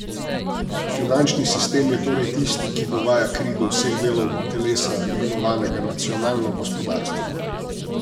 Finančni sistem je torej tisti, ki dovaja kri do vseh delov telesa imenovanega nacionalno gospodarstvo.